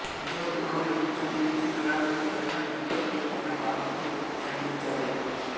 ఇంతలో ద్రోణుడు విజృంభించి విరాటుని పైన ద్రుపదుని పైన బాణములు సంధించాడు